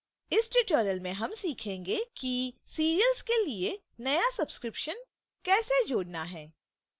इस tutorial में हम सीखेंगे कि serials के लिए नया subscription कैसे जोड़ना है